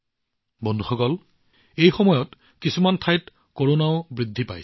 বন্ধুসকল এই সময়ত কিছুমান ঠাইত কৰোনাৰ ঘটনাও বাঢ়ি আহিছে